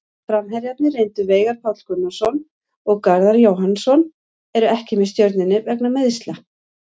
Framherjarnir reyndu Veigar Páll Gunnarsson og Garðar Jóhannsson eru ekki með Stjörnunni vegna meiðsla.